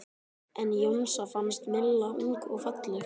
En Jónsa fannst Milla ung og falleg.